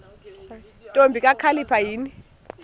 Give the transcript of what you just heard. ntombi kakhalipha yini